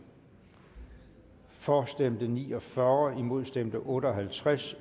for stemte ni og fyrre imod stemte otte og halvtreds